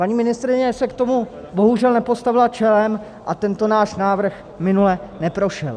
Paní ministryně se k tomu bohužel nepostavila čelem a tento náš návrh minule neprošel.